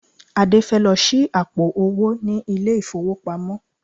Adé fẹ́ lọ ṣí àpò-owó ní ilé-ìfowópamọ́